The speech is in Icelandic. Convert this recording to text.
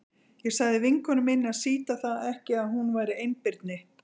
Ég sagði vinkonu minni að sýta það ekki að hún væri einbirni.